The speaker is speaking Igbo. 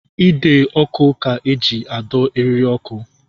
Ide ọkụ ka eji adọ eriri ọkụ